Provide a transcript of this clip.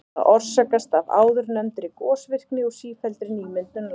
Það orsakast af áðurnefndri gosvirkni og sífelldri nýmyndun lands.